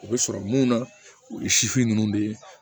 U bɛ sɔrɔ mun na o ye ninnu de ye